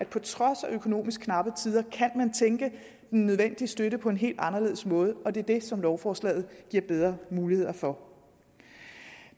på trods af økonomisk knappe tider kan tænke den nødvendige støtte på en helt anderledes måde og det er det som lovforslaget giver bedre muligheder for